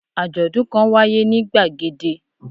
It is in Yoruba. Àjòdún kan wáyé ní gbàgede